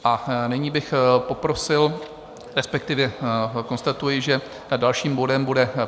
A nyní bych poprosil, respektive konstatuji, že dalším bodem bude